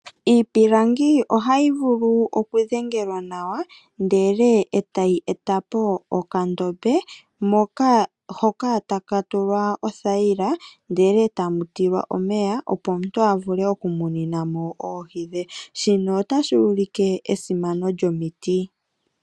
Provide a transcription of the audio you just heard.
Iipilangi ohayi vulu oku dhengelwa nawa ndele etayi etapo okandombe, hoka taka tulwa othayila, ndele etamu tilwa omeya opo omuntu avule oku muninamo oohi dhe, shino otashi ulike esimano lyomiti.